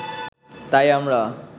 তাই আমরা